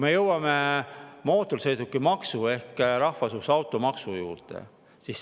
Jõuame mootorsõidukimaksu ehk rahvasuus automaksu juurde.